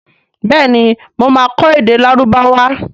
béèni mọ má kọ èdè Lárúbáwá.